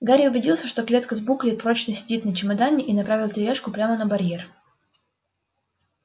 гарри убедился что клетка с буклей прочно сидит на чемодане и направил тележку прямо на барьер